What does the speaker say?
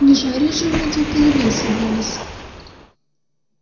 не жарить же мы этих голубей собрались